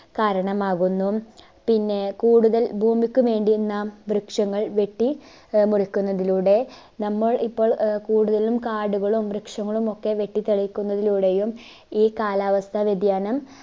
കാരണമാകുന്നു പിന്നെ കൂടുതൽ ഭൂമിക്ക് വേണ്ടി നാം വൃക്ഷങ്ങൾ വെട്ടി ആഹ് മുറിക്കുന്നതിലൂടെ നമ്മൾ ഇപ്പോൾ ആഹ് കൂടുതലും കാടുകളും വൃക്ഷങ്ങളും ഒക്കെ വെട്ടിത്തെളിക്കുന്നതിലൂടെയും ഈ കാലാവസ്ത വ്യതിയാനം